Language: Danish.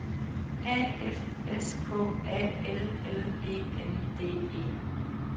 A F S K A L L E N D E